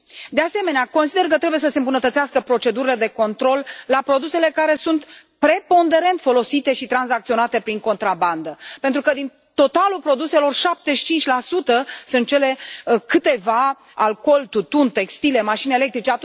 De asemenea, consider că trebuie să se îmbunătățească procedurile de control la produsele care sunt preponderent folosite și tranzacționate prin contrabandă pentru că din totalul produselor 75 sunt cele, câteva alcool, tutun, textile, mașini electrice